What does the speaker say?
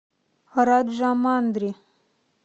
раджамандри